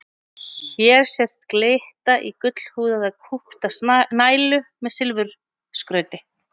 Hér sést glitta í gullhúðaða kúpta nælu með silfurskrauti.